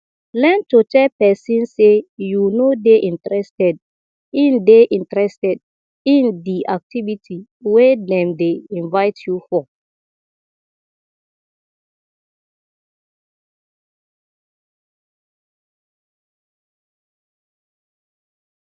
learn to tell person sey you no dey interested in dey interested in di activity wey dem dey invite you for